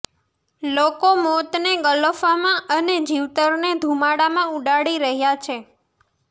લોકો મોતને ગલોફામાં અને જીવતરને ધુમાડામાં ઉડાડી રહ્યા છે